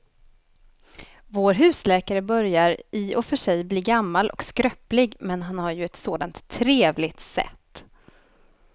Vår husläkare börjar i och för sig bli gammal och skröplig, men han har ju ett sådant trevligt sätt!